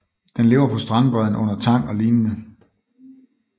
Den lever på strandbredden under tang og lignende